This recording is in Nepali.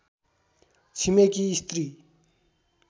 छिमेकी स्त्री